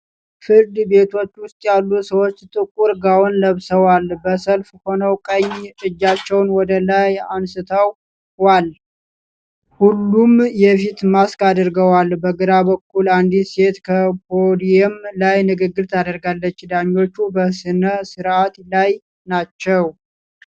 ፍርድ ቤቶች ውስጥ ያሉ ሰዎች ጥቁር ጋውን ለብሰዋል። በሰልፍ ሆነው ቀኝ እጃቸውን ወደ ላይ አንስተዋል። ሁሉም የፊት ማስክ አድርገዋል። በግራ በኩል አንዲት ሴት ከፖዲየም ላይ ንግግር ታደርጋለች። ዳኞች በሥነ ስርዓት ላይ ናቸው።